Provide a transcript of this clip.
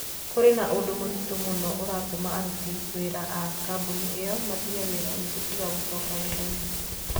Kũrĩ na ũndũ mũritũ mũno ũratũma aruti wĩra a kambuni ĩyo matige wĩra ũngĩ tiga gũcoka wĩra-inĩ.